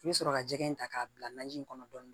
I bɛ sɔrɔ ka jɛgɛ in ta k'a bila naji in kɔnɔ dɔɔnin